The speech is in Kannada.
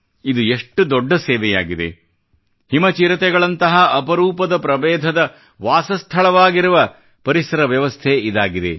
ಇದು ಎಷ್ಟು ದೊಡ್ಡ ಸೇವೆಯಾಗಿದೆ ಹಿಮ ಚಿರತೆಗಳಂತಹ ಅಪರೂಪದ ಪ್ರಬೇಧದ ವಾಸಸ್ಥಳವಾಗಿರುವ ಪರಿಸರವ್ಯವಸ್ಥೆ ಇದಾಗಿದೆ